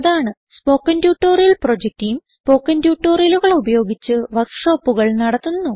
spoken tutorial project team spoken ട്യൂട്ടോറിയലുകൾ ഉപയോഗിച്ച് വർക്ക് ഷോപ്പുകൾ നടത്തുന്നു